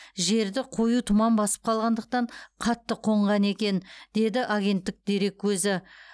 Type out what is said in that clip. жерді қою тұман басып қалғандықтан қатты қонған екен деді агенттік дереккөзі